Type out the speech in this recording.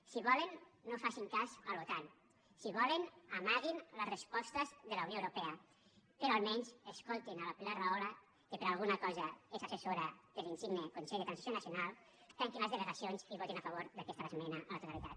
si volen no facin cas a l’otan si volen amaguin les respostes de la unió europea però almenys escoltin la pilar rahola que per alguna cosa és assessora de l’insigne consell per a la transi ció nacional tanquin les delegacions i votin a favor d’aquesta esmena a la totalitat